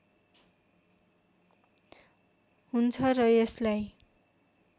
हुन्छ र यसलाई